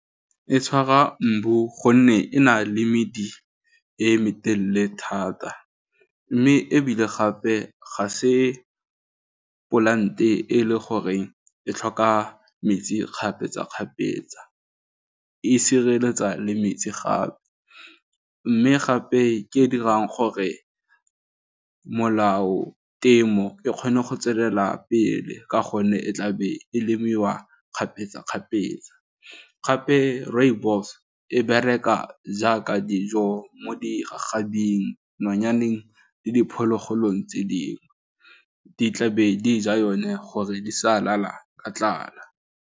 E tshwara mbu gonne e na le mmidi e me telle thata mme ebile gape ga se polante e le gore e tlhoka metsi kgapetsa kgapetsa, e sireletsa le metsi gape mme gape ke e dirang gore molao temo e kgone go tswelela pele ka gonne e tlabe e lemiwa kgapetsa kgapetsa, gape rooibos e bereka jaaka dijo mo digagabing, nonyaneng le diphologolong tse dingwe di tlabe di ja yone gore di sa lala ka tlala.